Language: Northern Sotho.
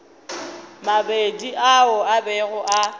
mabedi ao a bego a